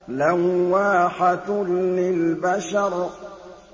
لَوَّاحَةٌ لِّلْبَشَرِ